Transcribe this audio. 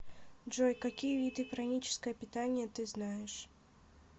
джой какие виды праническое питание ты знаешь